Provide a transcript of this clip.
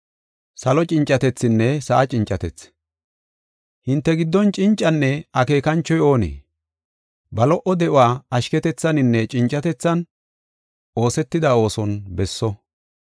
Hinte giddon cincinne akeekanchoy oonee? Ba lo77o de7uwa, ashketethaninne cincatethan oosetida ooson besso.